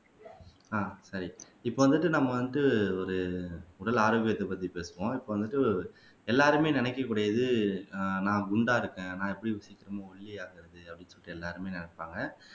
ஆஹ் சரி இப்ப வந்துட்டு நம்ம வந்து ஒரு உடல் ஆரோக்கியத்தைப் பத்தி பேசுவோம் இப்ப வந்துட்டு எல்லாருமே நினைக்கக்கூடியது ஆஹ் நான் குண்டா இருக்கேன் நான் எப்படி சீக்கிரமா ஒல்லியாகுறது சொல்லிட்டு எல்லாருமே நினைப்பாங்க